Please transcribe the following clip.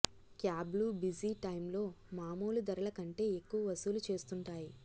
క్యాబ్లు busy టైమ్లో మామూలు ధరల కంటే ఎక్కువ వసూలు చేస్తుంటాయి